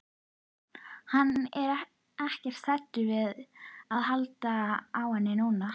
Hann er ekkert hræddur við að halda á henni núna.